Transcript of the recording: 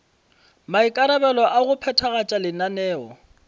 maikarabelo a go phethagatša lenaneo